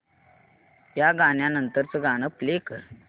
या गाण्या नंतरचं गाणं प्ले कर ना